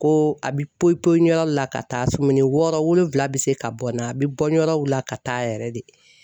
Ko a bi poyi poyi yɔrɔ la ka taa sumuni wɔɔrɔ wolonwula bi se ka bɔ n na, a bi bɔ yɔrɔw la ka taa yɛrɛ de.